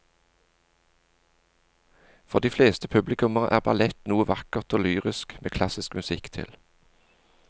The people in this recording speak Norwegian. For de fleste publikummere er ballett noe vakkert og lyrisk med klassisk musikk til.